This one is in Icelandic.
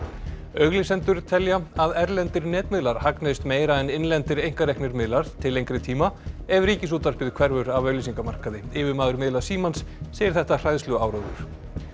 auglýsendur telja að erlendir netmiðlar hagnist meira en innlendir einkareknir miðlar til lengri tíma ef Ríkisútvarpið hverfur af auglýsingamarkaði yfirmaður miðla Símans segir þetta hræðsluáróður